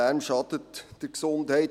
Lärm schadet der Gesundheit.